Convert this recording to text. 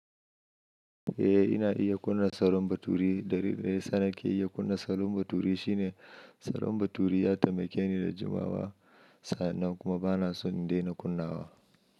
Eh ina iya kunna salon baturi. Dalilin da yasa nake iya kunna salon baturi shine salon baturi ya taimake ni da jimawa. Sannan kuma bana son daina kunnawa.